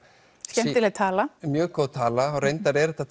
skemmtileg tala mjög góð tala reyndar er þetta